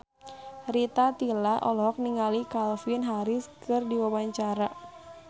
Rita Tila olohok ningali Calvin Harris keur diwawancara